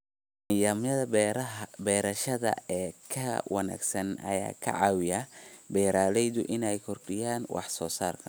Nidaamyada beerashada ee ka wanaagsan ayaa ka caawiya beeralayda inay kordhiyaan wax soo saarka.